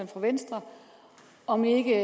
for venstre om ikke